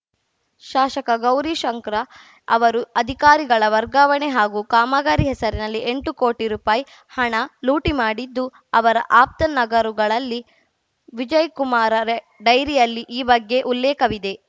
ಶಾಶಕ ಗೌರಿಶಂಕರ ಅವರು ಅಧಿಕಾರಿಗಳ ವರ್ಗಾವಣೆ ಹಾಗೂ ಕಾಮಗಾರಿ ಹೆಸರನಲ್ಲಿ ಎಂಟು ಕೋಟಿ ರುಪಾಯಿ ಹಣ ಲೂಟಿ ಮಾಡಿದ್ದು ಅವರ ಆಪ್ತ ನಗರುಗಳಲ್ಲಿ ವಿಜಯಕುಮಾರರೇ ಡೈರಿಯಲ್ಲಿ ಈ ಬಗ್ಗೆ ಉಲ್ಲೇಖವಿದೆ